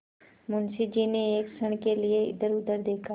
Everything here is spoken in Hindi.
मुंशी जी ने एक क्षण के लिए इधरउधर देखा